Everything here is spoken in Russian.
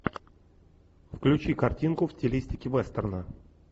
включи картинку в стилистике вестерна